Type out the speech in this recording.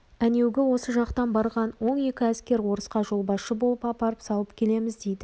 әнеугі осы жақтан барған он екі әскер орысқа жолбасшы болып апарып салып келеміз дейді